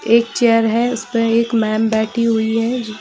''एक चेयर है उस पे एक मैम बैठी हुई है जो --''